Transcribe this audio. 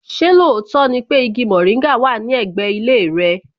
Ṣé lóòótọ́ ni pé igi mòríngà wà ní ẹ̀gbẹ́ ilé rẹ?